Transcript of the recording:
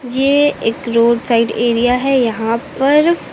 यह एक road side area है यहां पर--